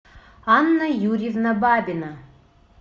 анна юрьевна бабина